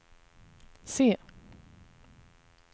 se